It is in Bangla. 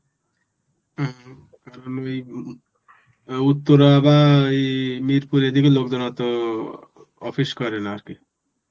হম কারণ ওই উত্তরা বা মিরপুর এদিকে লোকজন অতো office করে না আর কি.